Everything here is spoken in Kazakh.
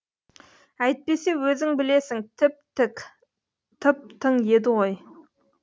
әйтпесе өзің білесің тіп тік тып тың еді ғой